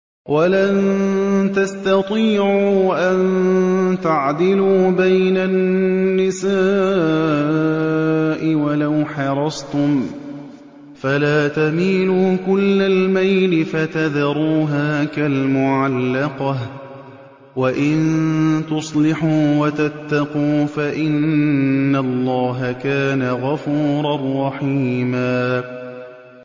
وَلَن تَسْتَطِيعُوا أَن تَعْدِلُوا بَيْنَ النِّسَاءِ وَلَوْ حَرَصْتُمْ ۖ فَلَا تَمِيلُوا كُلَّ الْمَيْلِ فَتَذَرُوهَا كَالْمُعَلَّقَةِ ۚ وَإِن تُصْلِحُوا وَتَتَّقُوا فَإِنَّ اللَّهَ كَانَ غَفُورًا رَّحِيمًا